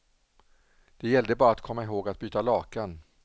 Det gällde bara att komma ihåg att byta lakan.